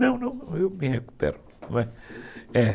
Não, não, eu me recupero. Não é?